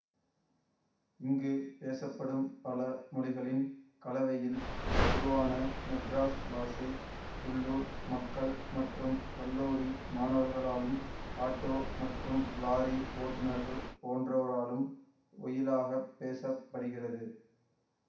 இங்கு பேசப்படும் பல மொழிகளின் கலவையில் உருவான மெட்ராஸ் பாஷை உள்ளூர் மக்கள் மற்றும் கல்லூரி மாணவர்களாலும் ஆட்டோ மற்றும் லாரி ஓட்டுனர்கள் போன்றோராலும் ஒயிலாகப் பேச படுகிறது